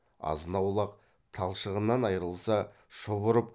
азынаулақ талшығынан айрылса шұбырып